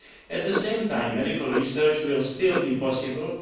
At the same time, medical research will still be possible.